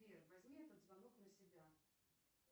сбер возьми этот звонок на себя